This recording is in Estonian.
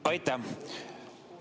Aitäh!